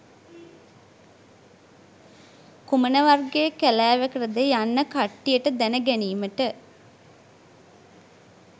කුමන වර්ගයේ කැලැවකටද යන්න කට්ටියට දැන ගැනිමට